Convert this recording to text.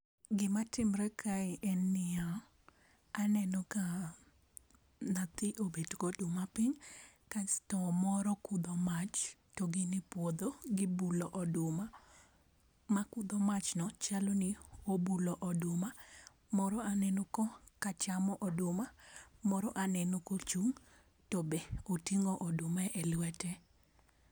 Gima timre kae en niya, aneno ka nathi obet goduma piny, kasto moro kudho mach to gin e puodho gibulo oduma. Ma kudho machno chal ni obulo oduma, moro aneno ko ka chamo oduma, moro aneno kochung' to be oting'o oduma e lwete.